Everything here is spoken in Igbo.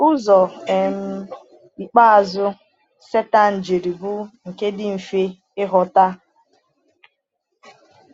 Ụzọ um ikpeazụ Sátán jiri bụ nke dị mfe ịghọta.